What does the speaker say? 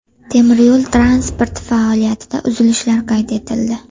Temiryo‘l transporti faoliyatida uzilishlar qayd etildi.